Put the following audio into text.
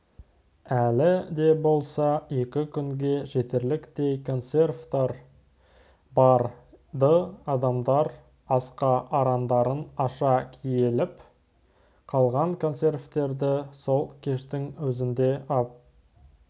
әлі де болса екі күнге жетерліктей консервтер бар-ды адамдар асқа арандарын аша килігіп қалған консервтерді сол кештің өзінде-ақ